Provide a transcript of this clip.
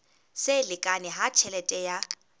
se lekane ha tjhelete ya